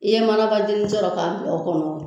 I ye mana bazini sɔrɔ k'a bila o kɔnɔ